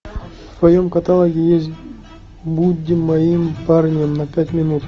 в твоем каталоге есть будь моим парнем на пять минут